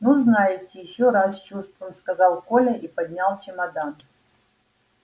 ну знаете ещё раз с чувством сказал коля и поднял чемодан